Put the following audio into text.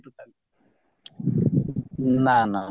ନା ନା